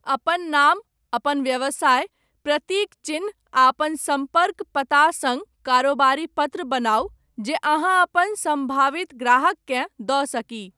अपन नाम, अपन व्यवसाय, प्रतीक चिह्न आ अपन सम्पर्क पता सङ्ग कारोबारी पत्र बनाउ जे अहाँ अपन सम्भावित ग्राहककेँ दऽ सकी।